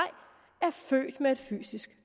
er født med et fysisk